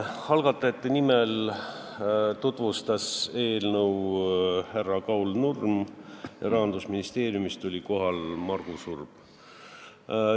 Algatajate nimel tutvustas eelnõu Kaul Nurm, Rahandusministeeriumist oli kohal Magnus Urb.